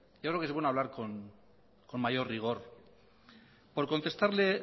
yo creo que es bueno hablar con mayor rigor por contestarle